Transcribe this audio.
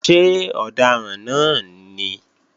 Ṣé ọ̀daràn náà ní?